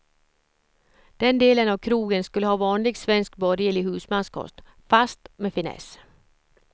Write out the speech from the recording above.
Den delen av krogen skulle ha vanlig svensk borgerlig husmanskost, fast med finess.